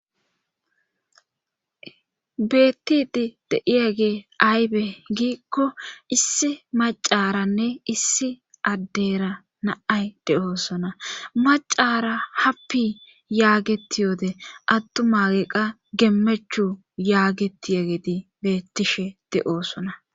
bettidi deiya gee aybe giikko issi macaranne issi addeyra naay de7oosona macara happi yaagetiyoode attumaeqqa gemmechu yaagetiyegedi bettishe de7oosona